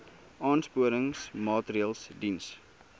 aansporingsmaatre ls diens